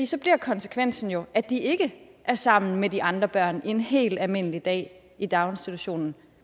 så bliver konsekvensen jo at de ikke er sammen med de andre børn og har en helt almindelig dag i daginstitutionen